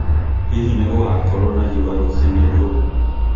Hihi nĩ gũgaakorũo na riũa rũcinĩ rũrũ?